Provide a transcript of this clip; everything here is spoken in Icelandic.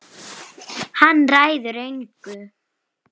Hann ræður engu.